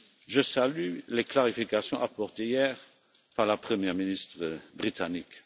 Je salue les clarifications apportées hier par la Première ministre britannique.